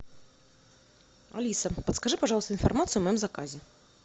алиса подскажи пожалуйста информацию о моем заказе